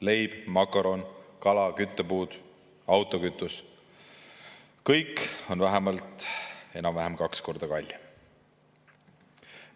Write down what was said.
Leib, makaronid, kala, küttepuud, autokütus – enam-vähem kõik on vähemalt kaks korda kallim.